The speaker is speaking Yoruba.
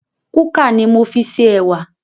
Kúkà ni mo fi ṣe ẹwà